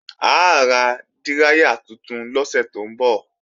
A ra díráyà tuntun lọ́sẹ̀ tó ń bọ̀